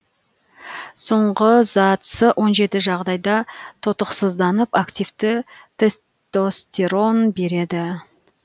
соңғы зат с он жеті жағдайда тотықсызданып активті тестостерон береді